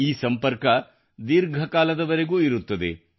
ಈ ಸಂಪರ್ಕ ದೀರ್ಘಕಾಲದವರೆಗೂ ಇರುತ್ತದೆ